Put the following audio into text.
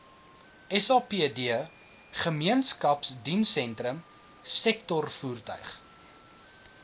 sapd gemeenskapsdienssentrum sektorvoertuig